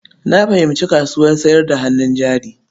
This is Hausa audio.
Na fahimci kasuwar sayar da hannun jari.